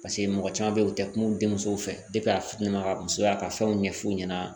Paseke mɔgɔ caman bɛ ye u tɛ kuma u denmuso fɛ a fitini ka musoya ka fɛnw ɲɛf'u ɲɛna